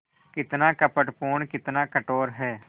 कितना कपटपूर्ण कितना कठोर है